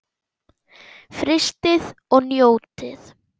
Frystið og njótið.